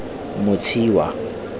motshiwa